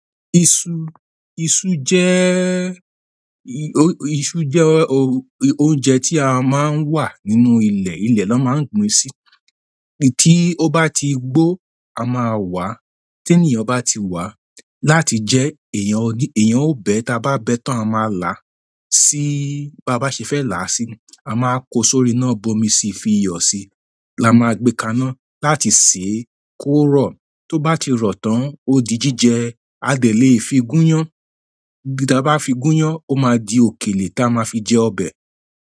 Iṣu, iṣu jé, i-iṣu jé òùn, oúnjẹ tí a máa ń wà nínú ilẹ̀, ilẹ̀ lọ máa ń gbin si. Tí ó bá ti gbó, a máa wàá, tí ènìyàn bá ti wà á, láti jẹ́, èèyàn ó bẹ́, tí a bá bẹ́ tán, a máa là á, síí bá bá ṣe fẹ́ là á sí, a máa kó sórí iná bomi si fi iyọ̀ sí, la máa gbé kaná láti sè é, kó rọ̀, tó bá ti rọ̀ tán, ó di jíjẹ, a de le fi gúnyán, bí tá ba fi gúnyán, ó máa di òkèlè tí a máa fi jẹ ọbẹ̀.